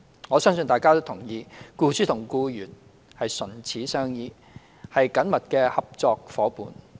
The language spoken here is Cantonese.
我相信大家同意，僱主與僱員唇齒相依，是緊密的合作夥伴。